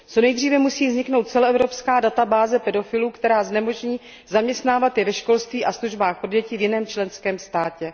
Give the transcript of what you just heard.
Co nejdříve musí vzniknout celoevropská databáze pedofilů, která znemožní zaměstnávat je ve školství a službách pro děti v jiném členském státě.